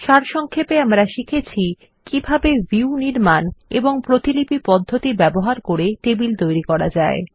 সারসংক্ষেপে আমরা শিখেছি কিভাবে ক ভিউ নির্মাণ এবং খ প্রতিলিপি পদ্ধতি ব্যবহার করে টেবিল তৈরী করা যায়